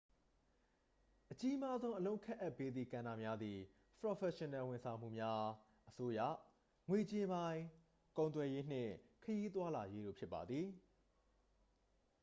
အကြီးမားဆုံး အလုပ်ခန့်အပ်ပေးသည့်ကဏ္ဍများသည် ပရော်ဖက်ရှင်နယ်ဝန်ဆောင်မှုများ အစိုးရ ငွေကြေးပိုင်း ကုန်သွယ်ရေး နှင့် ခရီးသွားလာရေးတို့ ဖြစ်ပါသည်